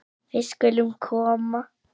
Við skulum koma